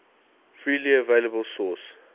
freely available source